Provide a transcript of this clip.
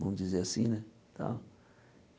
Vamos dizer assim, né? Tal